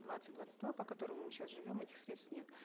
двадцать двадцать два по которому мы сейчас живем этих средств нет